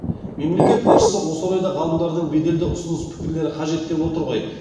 мемлекет басшысы осы орайда ғалымдардың беделді ұсыныс пікірлері қажет деп отыр ғой